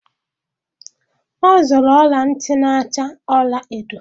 Ọ zụrụ ọla ntị na-acha ọla edo.